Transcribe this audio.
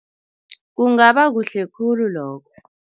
Kungaba kuhle khulu lokho.